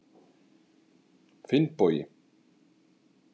Finnbogi